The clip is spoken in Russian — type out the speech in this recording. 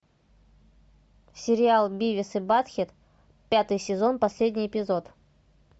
сериал бивис и батхед пятый сезон последний эпизод